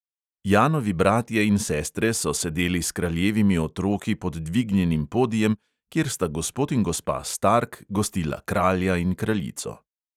Janovi bratje in sestre so sedeli s kraljevimi otroki pod dvignjenim podijem, kjer sta gospod in gospa stark gostila kralja in kraljico.